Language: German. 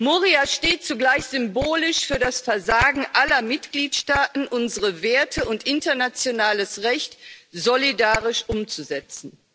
Moria steht zugleich symbolisch für das Versagen aller Mitgliedsstaaten, unsere Werte und internationales Recht solidarisch umzusetzen.